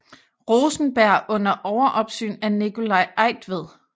Rosenberg under overopsyn af Nicolai Eigtved